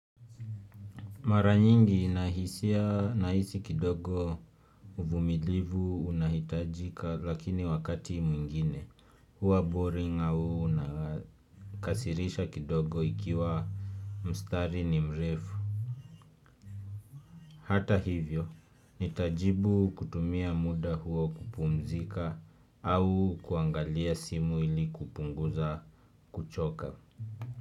Mara nyingi ninahisia naisi kidogo uvumilivu unahitajika lakini wakati mwingine huwa boring au unakasirisha kidogo ikiwa mstari ni mrefu. Hata hivyo, nitajibu kutumia muda huo kupumzika au kuangalia simu ili kupunguza kuchoka.